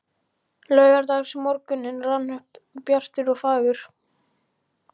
Laugardagsmorgunninn rann upp bjartur og fagur.